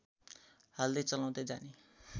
हाल्दै चलाउँदै जाने